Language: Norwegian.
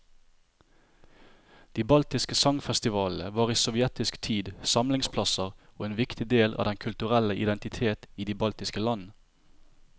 De baltiske sangfestivalene var i sovjetisk tid samlingsplasser og en viktig del av den kulturelle identitet i de baltiske land.